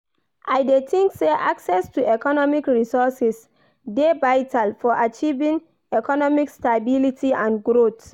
I dey think say access to economic resources dey vital for achieving economic stability and growth.